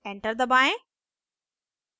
enter दबाएं